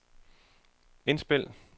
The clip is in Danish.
indspil